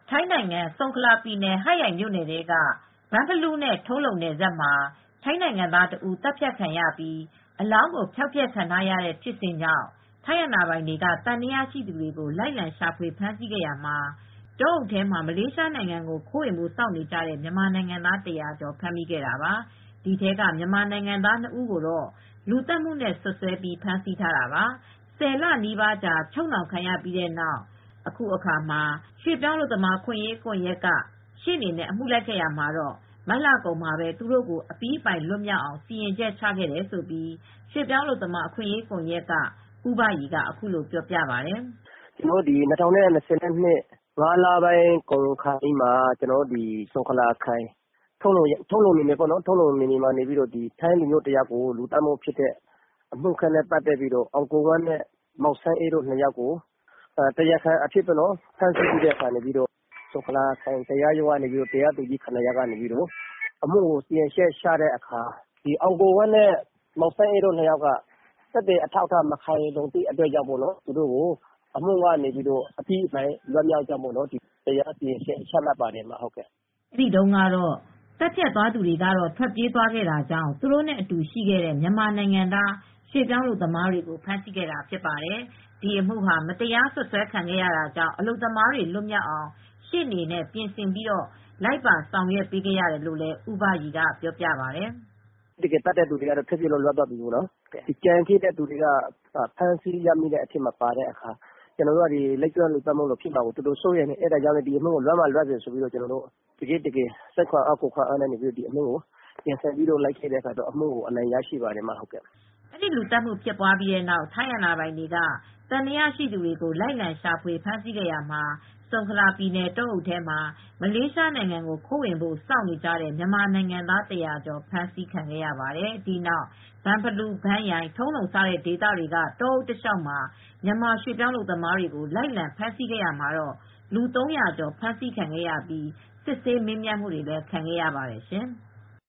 ထိုင်းနိုင်ငံ ဆုန်ခလာပြည်နယ် ဟတ်ရိုင်မြိုနယ်ထဲက ဘန့်ဖလူးနဲ့ ထုံးလုံနယ်စပ် မှာ ထိုင်းနိုင်ငံသားတဦး သတ်ဖြတ်ခံရပြီး အလောင်းဖျောက်ဖျက်ခံရတဲ့ ဖြစ်စဉ်ကြောင့် ထိုင်းအာဏာပိုင်တွေက သံသယရှိသူတွေကို လိုက်လံရှာဖွေဖမ်းဆီးရာမှာ တောအုပ်ထဲမှာ မလေးရှားနိုင်ငံကို ခိုးဝင်ဖို့စောင့်နေကြတဲ့ မြန်မာနိုင်ငံသား ၁၀၀ ကျော်ကို ဖမ်းမိခဲ့တာပါ။ ဒီထဲကမြန်မာနိုင်ငံသား ၂ ဦးကို လူသတ်မှုသံသယနဲ့ စွပ်စွဲပြီးဖမ်းဆီးခဲ့ပါတယ်။ ၁၀ လနီးပါးအချုပ်နှောင်ခံရပြီးတဲ့နောက် ရွှေ့ပြောင်းအလုပ်သမားအခွင့်အရေးကွန်ယက်က ရှေ့နေနဲ့ အမှုလိုက်ခဲ့ရာမှာ မတ်လကုန်မှာသူတို့ကို အပြီးအပိုင်လွတ်မြောက်အောင် စီရင်ချက်ချခဲ့တယ်လို့ ရွှေ့ပြောင်းအလုပ်သမားအခွင့်အရေးကွန်ယက်က ဦးဘရီက အခုလိုပြောပြပါတယ်။ “၂၀၂၂ ခုနှစ် ၅ လပိုင်းကုန်ခါနီးမှာ ထုံလုံမြိုနယ်ထဲမှာ ထိုင်းလူမျိုးတယောက် အသတ်ခံရပြီးတဲ့နောက် မောင်အောင်ကိုဝင်းနဲ့မောင်စန်းအေး ၂ ယောက်ကို တရားခံအဖြစ် ဖမ်းဆီးထားပြီး ဆုံခလာခရိုင်တရားရုံးကနေ တရားသူကြီး ၇ ယောက်က သူတို့ကို အမှုစီရင်ချက်ချတဲ့အခါမှာ အောင်ကိုဝင်းနဲ့မောင်စန်းအေးတို့နှစ်ယာက်ကတော့ သက်သေမခိုင်လုံတဲ့အတွက် လူသတ်မှုကနေ အပြီးအပိုင်လွတ်မြောက်ကြောင်း စီရင်ချက်မှတ်ပါတယ်။” အဲဒီတုန်းက သတ်ဖြတ်ခဲ့သူတွေ ထွက်ပြေးသွားတာကြောင့် သူတို့နဲ့အတူရှိခဲ့တဲ့ မြန်မာနိုင်ငံသားရွှေ့ပြောင်းအလုပ်သမားတွေကို ဖမ်းဆီးခဲ့တာဖြစ်ပါတယ်။ ဒီအမှုဟာ မတရားစွပ်စွဲခံရတာကြောင့် အလုပ်သမားတွေလွတ်မြောက်အောင် ရှေ့နေနဲ့ ပြင်ဆင်ပြီး လိုက်ပါဆောင်ရွက်ခဲ့ရတယ်လို့လည်း ဦးဘရီကပြောပါတယ်။ “တကယ်သတ်တဲ့သူတွေက ထွက်ပြေးလွတ်မြောက်သွားတယ်။ ကျန်တဲ့သူတွေက ဖမ်းဆီးခံရတဲ့အတွက် ကျနော်တို့ကလည်း လိပ်ကျွန်းလူသတ်မှုလိုဖြစ်မှာစိုးလို့ဒီအမှုကို စိတ်ခွန်အားလူခွန်အားနဲ့ ရှေ့နေနဲ့ ပြင်ဆင်ပြီး လိုက်ပေးတဲ့အခါ အမှုက အနိုင်ရရှိသွားပါတယ်။” အဲဒီလူသတ်မှုဖြစ်ပြီးတဲ့နောက် ထိုင်းအာဏာပိုင်တွေက သံသယရှိသူတွေကို လိုက်လံရှာဖွေဖမ်းဆီးရာမှာ ဆုံခလာပြည်နယ် တောအုပ်ထဲမှာ မလေးရှားနိုင်ငံကို ခိုးဝင်ဖို့စောင့်နေကြတဲ့ မြန်မာနိုင်ငံသား ၁၀၀ ကျော်ကို ဖမ်းမိခဲ့တာပါ။ ဒီနောက် ဘန့်ဖလူး ဘန့်ရိုင် ထုံးလုံ စတဲ့ဒေသတွေက တောအုပ်တလျှောက် မြန်မာရွှေ့ပြောင်းအလုပ်သမားတွေကို လိုက်လံဖမ်းဆီးခဲ့ရာမှာ လူ ၃၀၀ ကျော် ဖမ်းဆီးခံရပြီး စစ်ဆေးမေးမြန်းခံခဲ့ရပါတယ်ရှင်။